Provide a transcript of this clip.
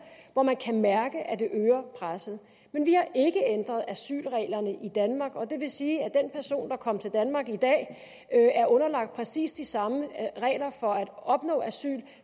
hvor man kan mærke at det øger presset men vi har ikke ændret asylreglerne i danmark og det vil sige at den person der kom til danmark i dag er underlagt præcis de samme regler for at opnå asyl